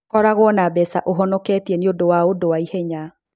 Koragũo na mbeca ũhonoketie nĩ ũndũ wa ũndũ wa ihenya.